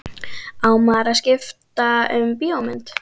Á maður að skipta um bíómynd?